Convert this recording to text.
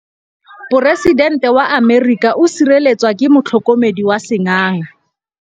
Poresitêntê wa Amerika o sireletswa ke motlhokomedi wa sengaga.